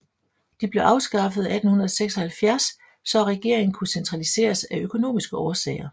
De blev afskaffede 1876 så at regeringen kunne centraliseres af økonomiske årsager